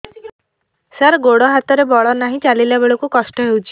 ସାର ଗୋଡୋ ହାତରେ ବଳ ନାହିଁ ଚାଲିଲା ବେଳକୁ କଷ୍ଟ ହେଉଛି